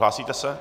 Hlásíte se?